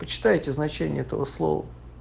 почитайте значение этого слова